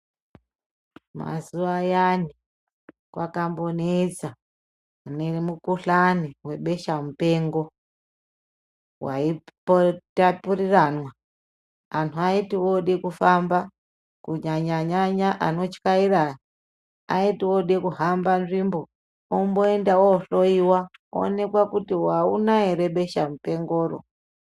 Mazuwa ayani kwakambonetsa nemukuhlani webeshamupengo waitapuriramwa anhu aiti ode kufamba kunyanyanyanya anotyaira aya aiti ode kuhamba nzvimbo omboenda ohloiwa oonekwa kuti auna here besha mupengoro .